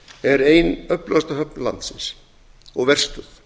er ein öflugasta höfn landsins og verstöð